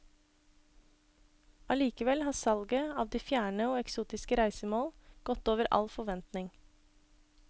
Allikevel har salget av de fjerne og eksotiske reisemål gått over all forventning.